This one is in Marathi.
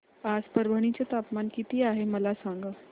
आज परभणी चे तापमान किती आहे मला सांगा